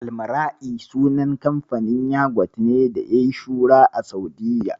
Almara'i sunan kamfanin yagwat ne da yayi shuhura a Sa'udiyya.